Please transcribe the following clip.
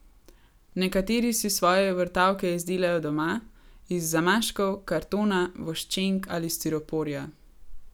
Nekateri si svoje vrtavke izdelajo doma, iz zamaškov, kartona, voščenk ali stiroporja.